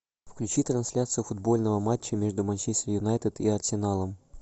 включи трансляцию футбольного матча между манчестер юнайтед и арсеналом